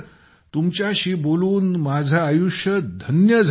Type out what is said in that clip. तुमच्याशी बोलून माझे आयुष्य धन्य झाले